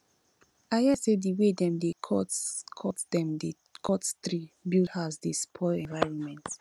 i hear sey di wey dem dey cut dem dey cut tree build house dey spoil environment